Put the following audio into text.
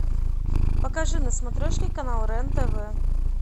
покажи на смотрешке канал рен тв